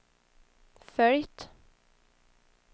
följt